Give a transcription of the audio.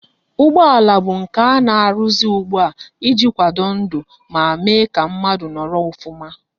Ụgbọala bụ nke ana aruzi ugbua iji akwado ndu ma Mee ka mmadu noro ofuma